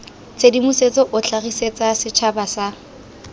tshedimosetso o tlhagisetsa setšhaba sa